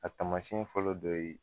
A tamasiɲɛ fɔlɔ dɔ ye